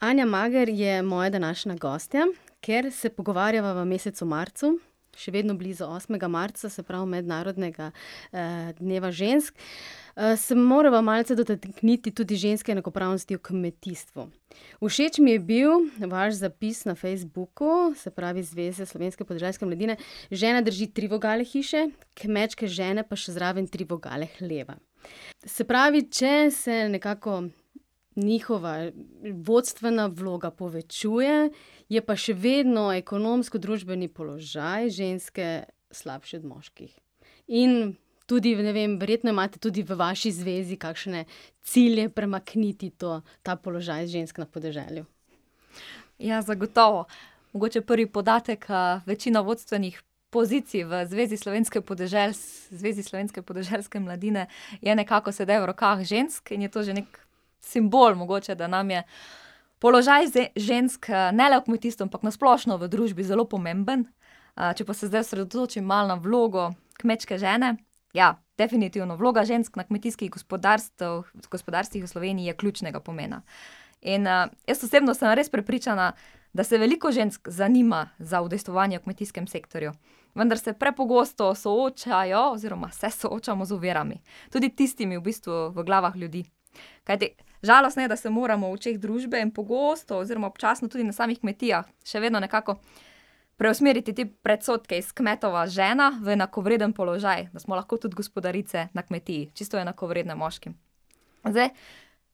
Anja Mager je moja današnja gostja. Ker se pogovarjava v mesecu marcu, še vedno blizu osmega marca, se pravi mednarodnega, dneva žensk, se morava malce dotakniti tudi ženske enakopravnosti v kmetijstvu. Všeč mi je bil vaš zapis na Facebooku, se pravi Zveze slovenske podeželske mladine. Žena drži tri vogale hiše, kmečke žene pa še zraven tri vogale hleva. Se pravi, če se nekako njihova vodstvena vloga povečuje, je pa še vedno ekonomsko družbeni položaj ženske slabši od moških. In tudi ne vem, verjetno imate tudi v vaši zvezi kakšne cilje premakniti to, ta položaj žensk na podeželju. Ja, zagotovo. Mogoče prvi podatek, večina vodstvenih pozicij v Zvezi slovenske Zvezi slovenske podeželske mladine je nekako sedaj v rokah žensk in je to že nekaj simbol mogoče, da nam je položaj žensk, ne le v kmetijstvu, ampak na splošno v družbi zelo pomemben. če pa se zdaj osredotočim malo na vlogo kmečke žene, ja, definitivno, vloga žensk na kmetijskih gospodarstvih v Sloveniji je ključnega pomena. In, jaz osebno sem res prepričana, da se veliko žensk zanima za udejstvovanje v kmetijskem sektorju, vendar se prepogosto soočajo oziroma se soočamo z ovirami. Tudi tistimi v bistvu v glavah ljudi. Kajti žalostno je, da se moramo v očeh družbe pogosto oziroma občasno tudi na samih kmetijah še vedno nekako preusmeriti te predsodke iz kmetova žena v enakovreden položaj. Da smo lahko tudi gospodarice na kmetiji, čisto enakovredne moškim. Zdaj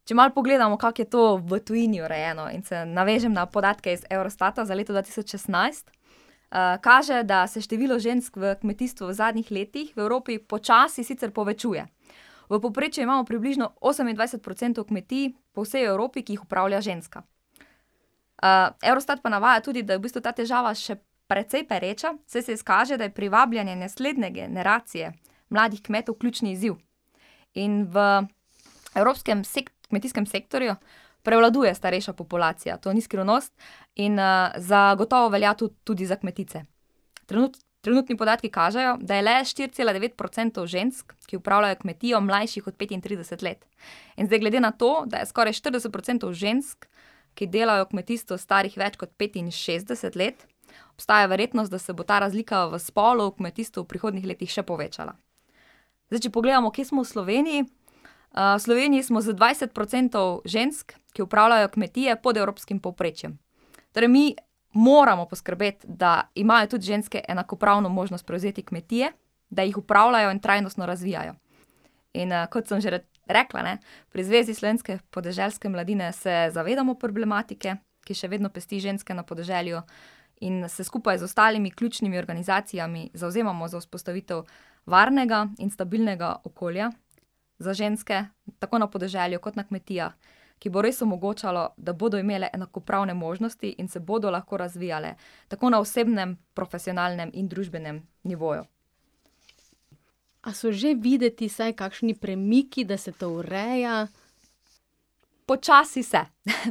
če malo pogledamo, kako je to v tujini urejeno in se navežem na podatke iz Eurostata za leto dva tisoč šestnajst, kaže, da se število žensk v kmetijstvu v zadnjih letih v Evropi počasi sicer povečuje. V povprečju imamo približno osemindvajset procentov kmetij po vsej Evropi, ki jih upravlja ženska. Eurostat pa navaja tudi, da je v bistvu ta težava še precej pereča, saj se izkaže, da je privabljanje naslednje generacije mladih kmetov ključni izziv. In v Evropskem kmetijskem sektorju prevladuje starejša populacija. To ni skrivnost. In, zagotovo velja to tudi za kmetice. trenutni podatki kažejo, da je le štiri cela devet procentov žensk, ki upravljajo kmetijo, mlajših od petintrideset let. In zdaj glede na to, da je skoraj štirideset procentov žensk, ki delajo v kmetijstvu, starih več kot petinšestdeset let, obstaja verjetnost, da se bo ta razlika v spolu v kmetijstvu v prihodnjih letih še povečala. Zdaj če pogledamo, kje smo v Sloveniji. v Sloveniji smo z dvajset procentov žensk, ki upravljajo kmetije, pod evropskim povprečjem. Torej mi moramo poskrbeti, da imajo tudi ženske enakopravno možnost prevzeti kmetije, da jih upravljajo in trajnostno razvijajo. In, kot sem že rekla, ne, pri Zvezi slovenske podeželske mladine se zavedamo problematike, ki še vedno pesti ženske na podeželju, in se skupaj z ostalimi ključnimi organizacijami zavzemamo za vzpostavitev varnega in stabilnega okolja za ženske, tako na podeželju kot na kmetijah, ki bo res omogočalo, da bodo imele enakopravne možnosti in se bodo lahko razvijale. Tako na osebnem, profesionalnem in družbenem nivoju. A so že videti vsaj kakšni premiki, da se to ureja? Počasi se.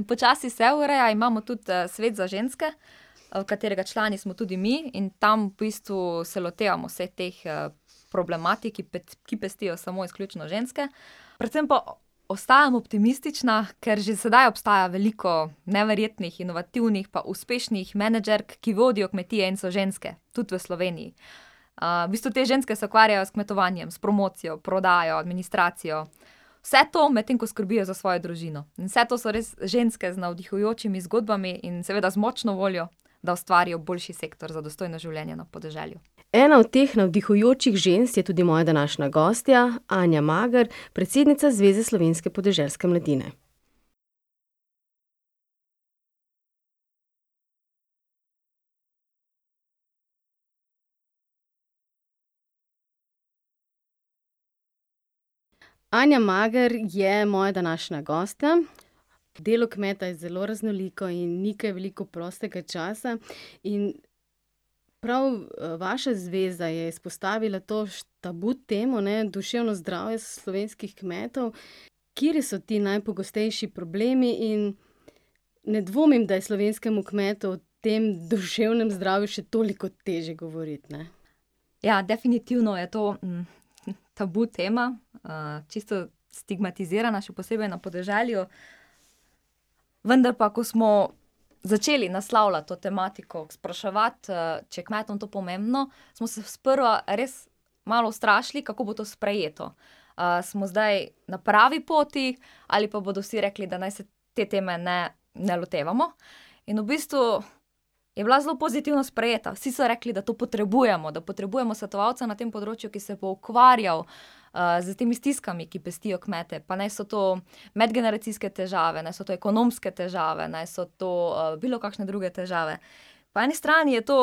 Počasi se ureja, imamo tudi, svet za ženske, katerega člani smo tudi mi in tam v bistvu se lotevamo vseh teh, problematik, ki ki pestijo samo izključno ženske. Predvsem pa ostajam optimistična, ker že sedaj obstaja veliko neverjetnih, inovativnih pa uspešnih menedžerk, ki vodijo kmetije in so ženske. Tudi v Sloveniji. v bistvu te ženske se ukvarjajo s kmetovanjem, s promocijo, prodajo, administracijo. Vse to, medtem ko skrbijo za svojo družino. In vse to so res ženske z navdihujočimi zgodbami in seveda z močno voljo, da ustvarijo boljši sektor za dostojno življenje na podeželju. Ena od teh navdihujočih žensk je tudi moja današnja gostja, Anja Mager, predsednica Zveze slovenske podeželske mladine. Anja Mager je moja današnja gostja. Delo kmeta je zelo raznoliko in ni kaj veliko prostega časa in prav, vaša zveza je izpostavila to tabu temo ne, duševno zdravje slovenskih kmetov. Kateri so ti najpogostejši problemi in ne dvomim, da je slovenskemu kmetu o tem duševnem zdravju še toliko težje govoriti, ne. Ja, definitivno je to, tabu tema, čisto stigmatizirana, še posebej na podeželju. Vendar pa, ko smo začeli naslavljati to tematiko, spraševati, če je kmetom to pomembno, smo se sprva res malo ustrašili, kako bo to sprejeto. smo zdaj na pravi poti ali pa bodo vsi rekli, da naj se te teme ne, ne lotevamo? In v bistvu je bila zelo pozitivno sprejeta. Vsi so rekli, da to potrebujemo, da potrebujemo svetovalca na tem področju, ki se bo ukvarjal, s temi stiskami, ki pestijo kmete, pa naj so to medgeneracijske težave, naj so to ekonomske težave, naj so to, bilokakšne druge težave. Po eni strani je to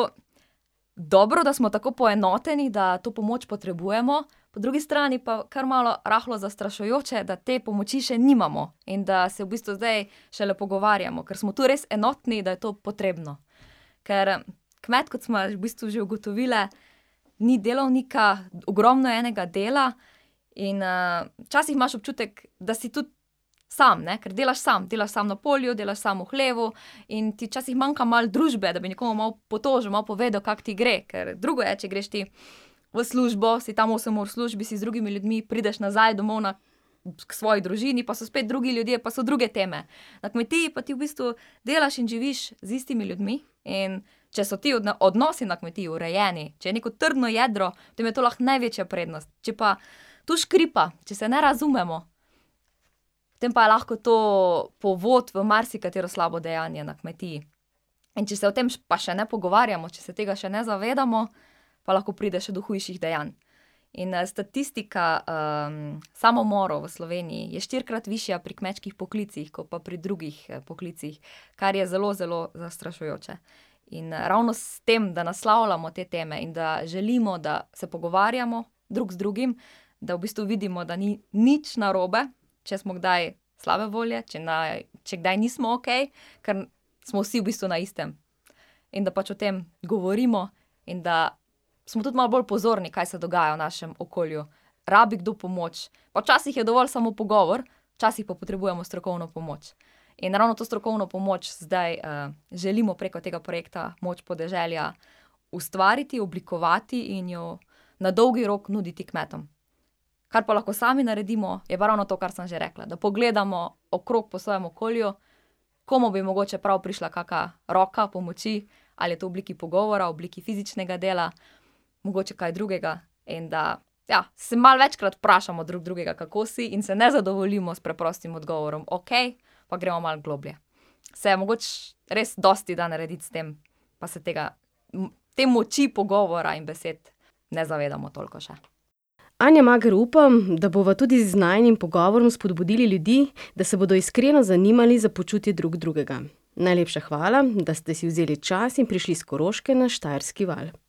dobro, da smo tako poenoteni, da to pomoč potrebujemo, po drugi strani pa kar malo rahlo zastrašujoče, da te pomoči še nimamo in da se v bistvu zdaj šele pogovarjamo. Ker smo tu res enotni, da je to potrebno. Ker kmet, kot sva v bistvu že ugotovili, ni delovnika, ogromno je enega dela in, včasih imaš občutek, da si tudi samo ne, ker delaš samo, delaš samo na polju, delaš samo v hlevu. In ti včasih manjka malo družbe, da bi nekomu malo potožil, malo povedal, kako ti gre. Kar drugo je, če greš ti v službo, si tam osem ur v službi, si z drugimi ljudmi, prideš nazaj domov na, k svoji družini, pa so spet drugi ljudje, pa so druge teme. Na kmetiji pa ti v bistvu delaš in živiš z istimi ljudmi, in če so ti odnosi na kmetiji urejeni, če je neko trdno jedro, potem je to lahko največja prednost. Če pa tu škripa, če se ne razumemo, potem pa je lahko to povod v marsikatero slabo dejanje na kmetiji. In če se o tem pa še ne pogovarjamo, če se tega še ne zavedamo, pa lahko pride še do hujših dejanj. In, statistika, samomorov v Sloveniji je štirikrat višja pri kmečkih poklicih ko pa pri drugih, poklicih, kar je zelo zelo zastrašujoče. In, ravno s tem, da naslavljamo te teme in da želimo, da se pogovarjamo drug z drugim, da v bistvu vidimo, da ni nič narobe, če smo kdaj slabe volje, če če kdaj nismo okej, ker smo vsi v bistvu na istem. In da pač o tem govorimo in da smo tudi malo bolj pozorni, kaj se dogaja v našem okolju. Rabi kdo pomoč. Pa včasih je dovolj samo pogovor, včasih pa potrebujemo strokovno pomoč. In ravno to strokovno pomoč zdaj, želimo preko tega projekta Moč podeželja ustvariti, oblikovati in jo na dolgi rok nuditi kmetom. Kar pa lahko sami naredimo, je pa ravno to, kar sem že rekla. Da pogledamo okrog po svojem okolju, komu bi mogoče prav prišla kaka roka pomoči. Ali je to v obliki pogovora, v obliki fizičnega dela, mogoče kaj drugega, in da, ja, se malo večkrat vprašamo drug drugega, kako si in se ne zadovoljimo s preprostim odgovorom okej, ampak gremo malo globlje. Se mogoče res dosti da narediti s tem, pa se tega te moči pogovora in besed ne zavedamo toliko še. Anja Mager, upam, da bova tudi z najinim pogovorom spodbudili ljudi, da se bodo iskreno zanimali za počutje drug drugega. Najlepša hvala, da ste si vzeli čas in prišli s Koroške na Štajerski val.